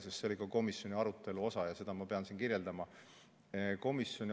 Sest see oli ka komisjoni arutelu osa ja ma pean seda siin kirjeldama.